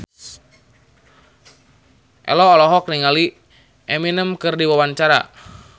Ello olohok ningali Eminem keur diwawancara